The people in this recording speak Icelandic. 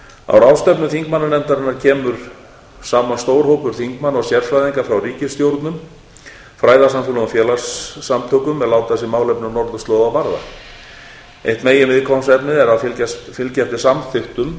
á ráðstefnum þingmannanefndarinnar kemur saman stór hópur þingmanna og sérfræðinga frá ríkisstjórnum fræðasamfélögum og félagasamtökum er láta sig málefni norðurslóða varða eitt meginviðfangsefnið er að fylgja eftir samþykktum